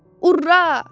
Urra!